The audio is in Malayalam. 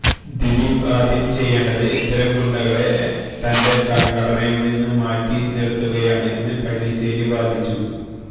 ദിലീപ് ആദ്യം ചെയ്യേണ്ടത് ഇത്തരം ഗുണ്ടകളെ തന്റെ സംഘടനയിൽ നിന്നും മാറ്റി നിർത്തുകയാണ് എന്ന് പല്ലിശ്ശേരി വാദിച്ചു